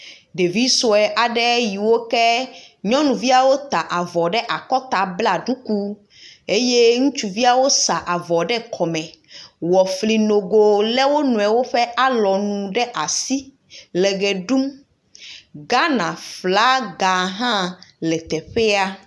Ɖevi sue aɖe yiwo ke, nyɔnuviawo ta avɔ ɖe akɔta, bla ɖuku, ŋutsuviawo sa avɔ ɖe kɔme wɔ fli nogoo lé wo nɔewo ƒe alɔnu ɖe asi le ʋe ɖum.